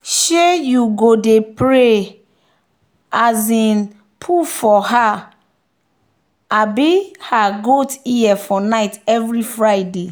she dey go pray um put for um her goat ear for night every friday.